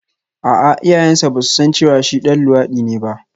A'a iyayensa ba su san cewa shi ɗan luwaɗi ne ba